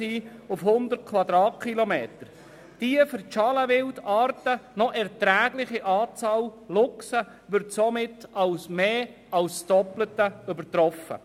Die für die Schalenwildarten noch erträgliche Anzahl von Luchsen wird damit um mehr als das Doppelte übertroffen.